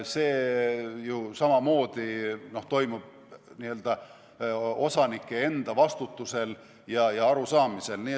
See ju samamoodi toimub osanike enda vastutusel ja arusaamise järgi.